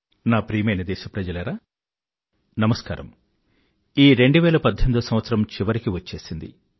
నా ప్రియమైన దేశప్రజలారా నమస్కారం ఈ 2018 సంవత్సరం చివరికి వచ్చేసింది